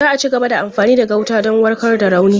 Za a cigaba da amfani da gauta don warkar da rauni.